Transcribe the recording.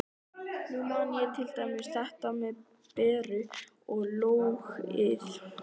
Nú man ég til dæmis þetta með Beru og lógóið.